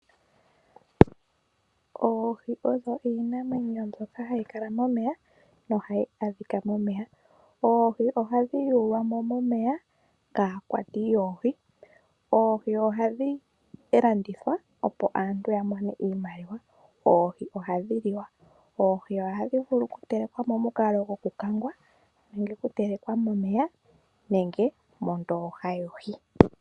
Oohi odho iinamwenyo mbyoka hayi kala momeya nohayi adhika momeya . Oohi ohadhi yulwamo momeya kaakwati yoohi. Oohi ohadhi landithwa opo aantu yamone iimaliwa. Oohi ohadhi liwa . Oohi ohadhi vulu okutelekwa momukalo gwoku kangwa nenge oku nenge okutelekwa momeya nenge mondooha yohi.